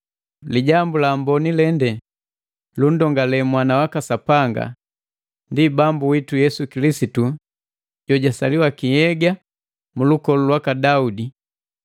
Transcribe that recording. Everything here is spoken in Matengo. Lijambu la Amboni lende lunndongale Mwana waka Sapanga, ndi Bambu witu Yesu Kilisitu jojwasaliwa ki nhyega mulukolu lwaka Daudi,